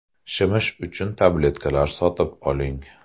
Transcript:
Shimish uchun tabletkalar sotib oling.